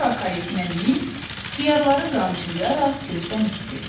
Sonra koletinə minib, xiyarları qamçılayaraq gözdən itdİ.